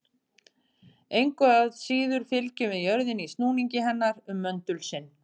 Engu að síður fylgjum við jörðinni í snúningi hennar um möndul sinn.